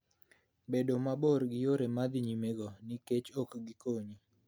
Bed mabor gi yore ma dhi nyimego, nikop ok gikonyi.